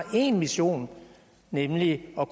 til en mission nemlig at